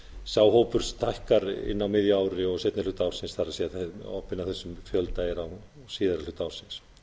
sá hópur stækkar á miðju ári og seinni hluta ársins obbinn af þessum fjölda er á síðari hluta ársins